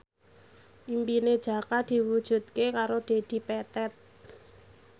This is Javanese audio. impine Jaka diwujudke karo Dedi Petet